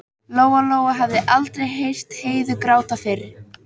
Lóa-Lóa hafði aldrei heyrt Heiðu gráta fyrr.